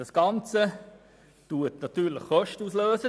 In diesem Zusammenhang werden natürlich Kosten ausgelöst.